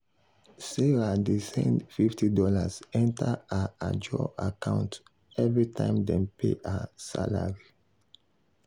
sarah dey send fifty dollarsenter her ajo account every time dem pay her salary.